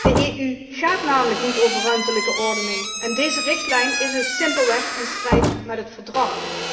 De EU gaat namelijk niet over ruimtelijke ordening en deze richtlijn is dus simpelweg in strijd met het Verdrag.